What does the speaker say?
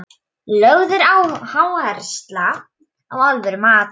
Lögð er áhersla á alvöru mat.